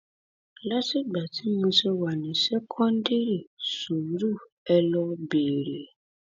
látìgbà tí mo ti wà ní ṣèkọndírì sùúrù ẹ lọọ béèrè